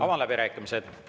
Avan läbirääkimised.